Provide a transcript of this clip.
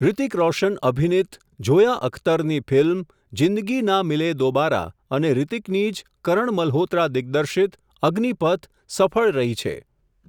હૃતિક રોશન અભિનિત, ઝોયા અખ્તરની ફિલ્મ, જીંદગીના મિલે દોબારા અને હૃતિકની જ કરણ મલહોત્રા દિગ્દર્શીત, અગ્નિપથ સફળ રહી છે.